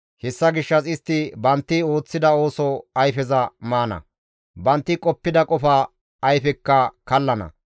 Hessa gishshas istti bantti ooththida ooso ayfeza maana; bantti qoppida qofa ayfekka kallana.